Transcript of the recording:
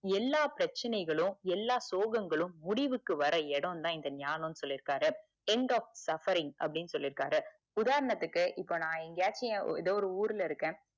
எல்லா பிரச்சனைகளும் எல்லா சோகங்களும் முடிவுக்கு வர இடம் தான் இந்த ஞானம்ன்னு சொல்லிருக்காரு end of suffering அப்படின்னு சொல்லிருகாறு உதாரணத்துக்கு இப்ப நான் எங்கேயாச்சும் எத ஒரு ஊருல இருக்கேன்